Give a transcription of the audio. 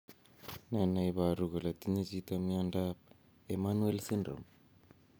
Ne ne iporu kole tinye chito miondap Emanuel syndrome.